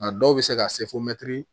A dɔw bɛ se ka se fo